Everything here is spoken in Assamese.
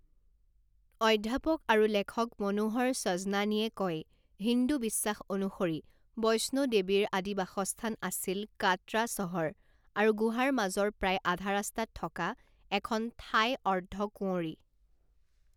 অধ্যাপক আৰু লেখক মনোহৰ সজনানীয়ে কয়, হিন্দু বিশ্বাস অনুসৰি, বৈষ্ণো দেৱীৰ আদি বাসস্থান আছিল কাটৰা চহৰ আৰু গুহাৰ মাজৰ প্ৰায় আধা ৰাস্তাত থকা এখন ঠাই অৰ্ধ কুঁৱৰী।